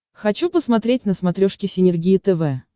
хочу посмотреть на смотрешке синергия тв